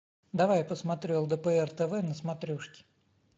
давай я посмотрю лдпр тв на смотрешке